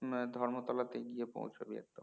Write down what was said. না ধর্মতলা তে গিয়ে পৌছবি একদম